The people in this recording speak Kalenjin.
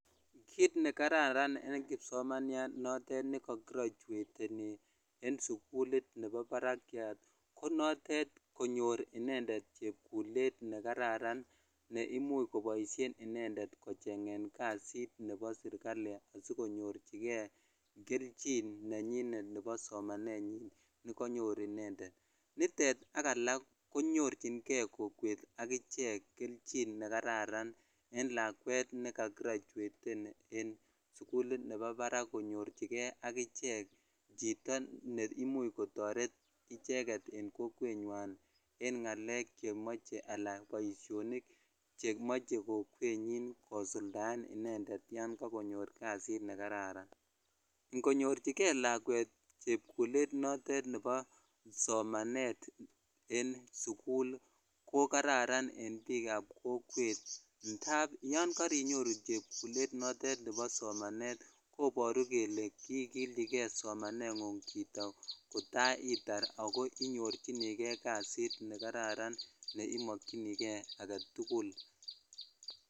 Kiit nekararan en kipsomaniat notet neko gradueteni en sukulit neo barakiat ko notet konyor inendet chepkulet nee kararan ne imuch koboishen inendet kocheng'en kasit nebo serikali asikonyorchike kelchin nenyinet nebo somanenyin nekonyor inendet, nitet ak alak konyorching'e kokwet ak ichek kelchin nekararan en lakwet nekakirachweten en sukulit nebo barak konyorchike ak ichek chito neimuch kotoret icheket en kokwenywan en ng'alek chemoche alaan boishonik chemoche kokwenyin kosuldaen inendet yoon kokonyor kasit nekararan ng'onyorchike lakwet chepkulet notet nebo somanet en sukul ko kararan en biikab kokwet ndaab yoon korinyoru chepkulet notet nebo somanet koboru kelee kiikilchike somaneng'ung chito kotaitar ak ko inyorchinike kasit nekararan neimokyinike aketukul.